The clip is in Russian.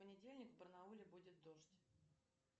в понедельник в барнауле будет дождь